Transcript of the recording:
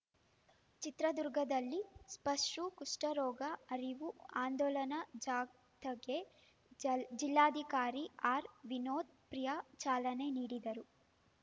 ಚಿತ್ರದುರ್ಗದಲ್ಲಿ ಸ್ಪರ್ಶೂ ಕುಷ್ಠರೋಗ ಅರಿವು ಆಂದೋಲನ ಜಾಥಾಕ್ಕೆ ಜಲ್ ಜಿಲ್ಲಾಧಿಕಾರಿ ಆರ್‌ವಿನೋತ್‌ ಪ್ರಿಯಾ ಚಾಲನೆ ನೀಡಿದರು